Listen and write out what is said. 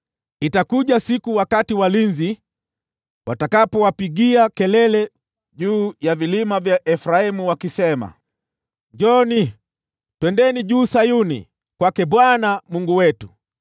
Itakuja siku wakati walinzi watakapowapigia kelele juu ya vilima vya Efraimu wakisema, ‘Njooni, twendeni juu Sayuni, kwake Bwana Mungu wetu.’ ”